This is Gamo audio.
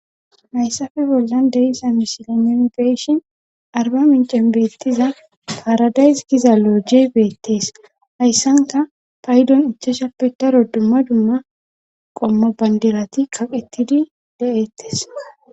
hayssappe bollan de'iyssa misilen nuuni be'ishin Arbamincen beettiza paaradays giza looje beettees hayssankka paydon ichchashappe daro dumma dumma qommo bandirati kaqetidi de'ettes